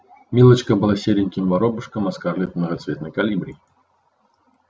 милочка была сереньким воробышком а скарлетт многоцветной колибри